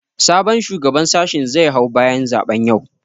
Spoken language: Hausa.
Sabon shugaban sashin zai hau bayan zaɓen yau